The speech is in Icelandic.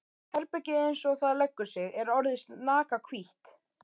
Herbergið eins og það leggur sig er orðið snakahvítt!